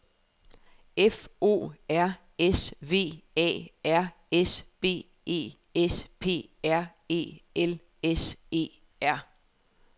F O R S V A R S B E S P A R E L S E R